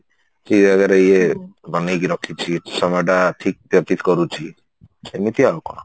ଠିକ ଜାଗାରେ ଇଏ ବନେଇକି ରଖିଛି ସମୟ ଟା ଠିକ କରୁଛି ସେମିତି ଆଉ କଣ